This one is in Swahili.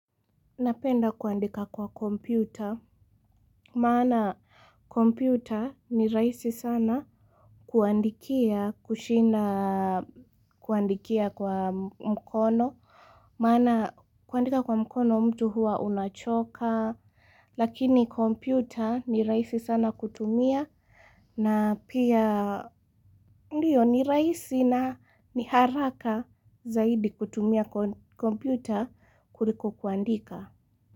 Napenda kuandika kwa kompyuta, maana kompyuta ni rahisi sana kuandikia kushinda kuandikia kwa mkono, maana kuandika kwa mkono mtu hua unachoka, lakini kompyuta ni rahisi sana kutumia na pia ni rahisi na ni haraka zaidi kutumia kompyuta kuliko kuandika.